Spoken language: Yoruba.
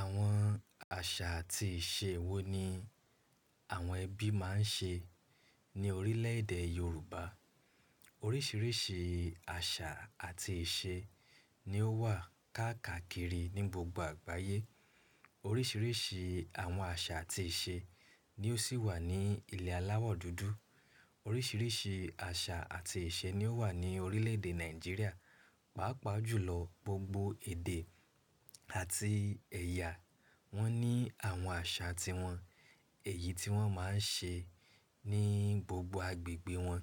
Àwọn àṣà àti ìṣe wo ni àwọn ẹbí máa ń ṣe ní orílè èdè Yorùbá? Oríṣiríṣi àṣà àti ìṣe ni ó wà káàkiri ní gbogbo àgbáyé. Oríṣiríṣi àwọn àṣà àti ìṣe ni ó sì wà ní ilẹ̀ aláwọ̀ dúdú. Oríṣiríṣi àṣà àti ìṣe ni ó wà ní orílè èdè Nàìjíríà. Pàápàá jùlọ gbogbo èdè àti ẹ̀yà wọ́n ní àwọn àṣà tiwọn èyí tí wọ́n máa ń ṣe ní gbogbo agbègbè wọn.